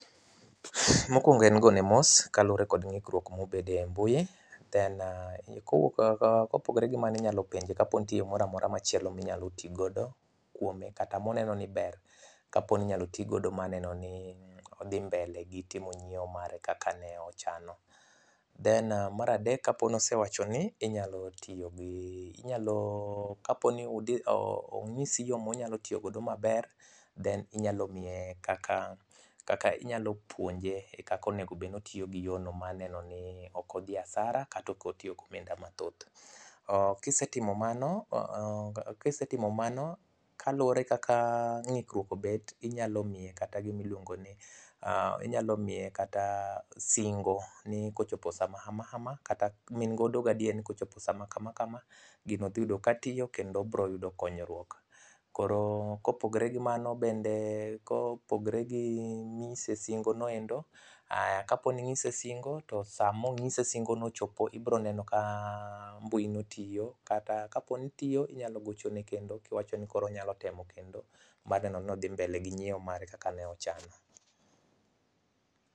Mokwongo en go ne mos kalure kod ng'ikruok mobedo e mbui, then] kopogore gi mano inyalo penje kapo ni nitiere moramora machielo minyalo tigodo kuome kata moneno ni ber, kapo ni inyalo ti godo maneno ni odhi mbele gi timo nyiewo mare kaka ne ochano. Then mar adek, kapo nosewacho ni inyalo ong'isi yo monyalo tiyo godo maber then inyalo puonje kaka onego obed ni otiyo gi yono maneno ni ok odhi asara kata ok otiyo gi omenda mathoth. Kisetimo mano, kaluwore kaka ng'ikruok obet, inyalo miye kata gimiluongo ni singo ni kochopo sama hama hama kata ma in godo gadier ni koschopo sama kama kama, gino dhi yudo ka tiyo kendo obroyudo konyruok. Koro bende kopogre gi mano bende gi ng'ise singono endo Kapo ning'ise singo to samong'ise singono ochopo, ibro neno ka mbui no tiyo, kata kapo ni tiyo inyalo gocho ne kendo kiwacho ni koro onyalo temo kendo mar neno ni odhi mbele gi nyiewo mare kaka ne ochano.